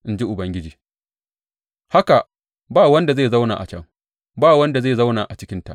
in ji Ubangiji, haka ba wanda zai zauna a can; ba wani da zai zauna a cikinta.